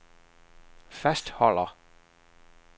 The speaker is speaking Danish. fastholder